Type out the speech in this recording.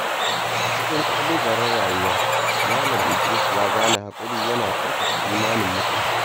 A cikin ƙalubalen rayuwa, Malam Idris ya gane cewa haƙuri yana ƙarfafa imanin mutum.